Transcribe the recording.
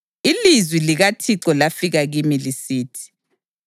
Ilizwi likaThixo lafika kimi lisithi: